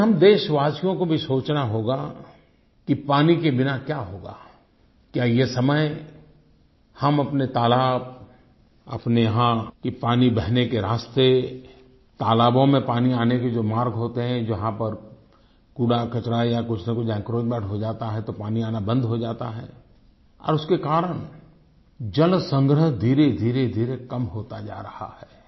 लेकिन हम देशवासियो को भी सोचना होगा कि पानी के बिना क्या होगा क्या ये समय हम अपने तालाब अपने यहाँ पानी बहने के रास्ते तालाबों में पानी आने के जो मार्ग होते हैं जहाँ पर कूड़ाकचरा या कुछ न कुछ एन्क्रोचमेंट हो जाता तो पानी आना बंद हो जाता है और उसके कारण जलसंग्रह धीरेधीरे कम होता जा रहा है